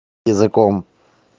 языком